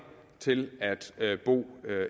til at bo